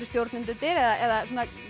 stjórnendur eða